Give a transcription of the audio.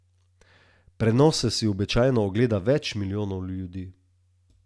Prenose si običajno ogleda več milijonov ljudi.